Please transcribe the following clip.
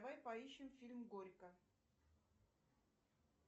давай поищем фильм горько